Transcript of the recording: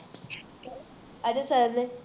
Ajay sir ਨੇ